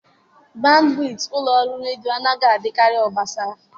bandwit ụlọ ọrụ redio anaghị adịkarị obosara.